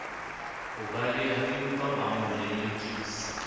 ho balehaempa ba mo lelekisa